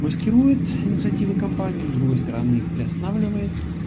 маскирует инициативы компании с другой стороны их приостанавливает